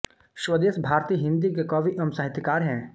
स्वदेश भारती हिन्दी के कवि एवं साहित्यकार हैं